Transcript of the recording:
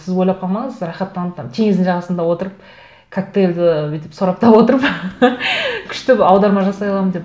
сіз ойлап қалмаңыз рақаттанып там теңіздің жағасында отырып коктейльді бүйтіп сораптап отырып күшті аударма жасай аламын деп